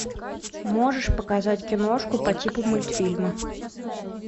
можешь показать киношку по типу мультфильма